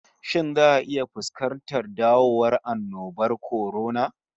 Shin za'a iya fuskantar dawowan annobar kwarona?